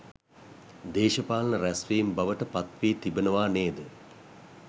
දේශපාලන රැස්වීම් බවට පත්වී තිබෙනවා නේද?